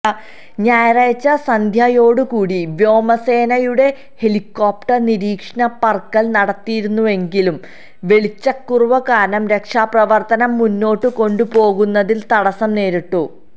ഞായറാഴ്ച സന്ധ്യയോടുകൂടി വ്യോമസേനയുടെഹെലികോപ്റ്റര് നീരീക്ഷണ പറക്കല് നടത്തിയിരുന്നുവെങ്കിലും വെളിച്ചക്കുറവ് കാരണം രക്ഷാപ്രവര്ത്തനം മുന്നോട്ട് കൊണ്ടുപോകുന്നതില് തടസ്സം നേരിട്ടു